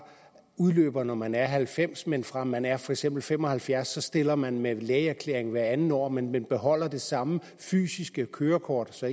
udløber når man er halvfems år men fra man er for eksempel fem og halvfjerds år så stiller man med en lægeerklæring hvert andet år men men beholder det samme fysiske kørekort så